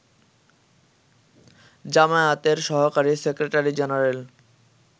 জামায়াতের সহকারী secretary general